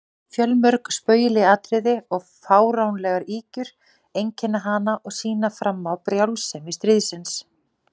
Fjölmörg spaugileg atriði og fáránlegar ýkjur einkenna hana og sýna fram á brjálsemi stríðsins.